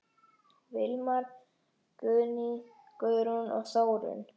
Vilmar, Guðný, Guðrún og Þórunn.